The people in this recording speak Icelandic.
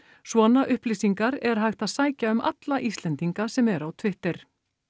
svona upplýsingar er hægt að sækja um alla Íslendinga sem eru á Twitter